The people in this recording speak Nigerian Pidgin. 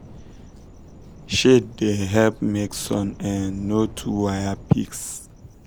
shade da help make sun um no too waya pigs